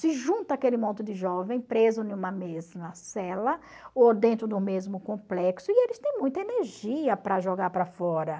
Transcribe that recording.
Se junta aquele monte de jovem preso em uma mesma cela ou dentro do mesmo complexo e eles têm muita energia para jogar para fora.